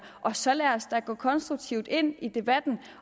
og så lad os da gå konstruktivt ind i debatten